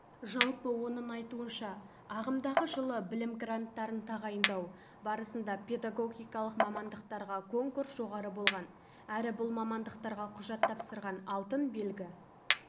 жалпы оның айтуынша ағымдағы жылы білім гранттарын тағайындау барысында педагогикалық мамандықтарға конкурс жоғары болған әрі бұл мамандықтарға құжат тапсырған алтын белгі